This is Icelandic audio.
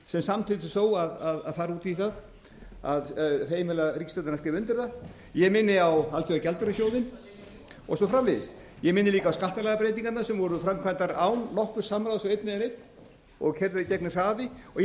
sem samþykkti þó að fara út í það að heimila ríkisstjórninni að skrifa undir það ég minni á alþjóðagjaldeyrissjóðinn og svo framvegis ég minni líka á skattalagabreytingarnar sem voru framkvæmdar án nokkurs samráðs við einn eða neinn og keyrðar í gegn með hraði og ég